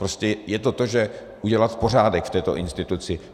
Prostě je to o tom udělat pořádek v této instituci.